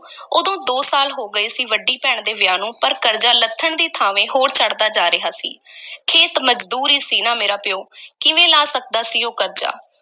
ਉਦੋਂ ਦੋ ਸਾਲ ਹੋ ਗਏ ਸੀ ਵੱਡੀ ਭੈਣ ਦੇ ਵਿਆਹ ਨੂੰ ਪਰ ਕਰਜ਼ਾ ਲੱਥਣ ਦੀ ਥਾਂਵੇਂ ਹੋਰ ਚੜ੍ਹਦਾ ਜਾ ਰਿਹਾ ਸੀ ਖੇਤ-ਮਜ਼ਦੂਰ ਹੀ ਸੀ ਨਾ ਮੇਰਾ ਪਿਓ ਕਿਵੇਂ ਲਾਹ ਸਕਦਾ ਸੀ ਉਹ ਕਰਜ਼ਾ।